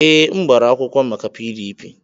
Ee, m gbara akwụkwọ maka PDP.